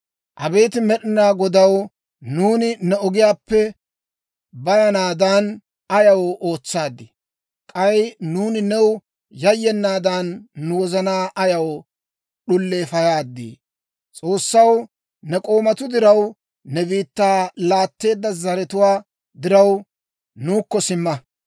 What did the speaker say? Abeet Med'inaa Godaw, nuuni ne ogiyaappe bayanaadan, ayaw ootsaaddii? K'ay nuuni new yayyenaadan, nu wozanaa ayaw d'uleefayaadee? S'oossaw, ne k'oomatuu diraw, ne biittaa laatteedda zaratuwaa diraw, nuukko simma.